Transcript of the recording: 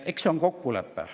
Eks see on kokkulepe.